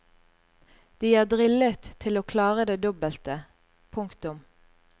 De er drillet til å klare det dobbelte. punktum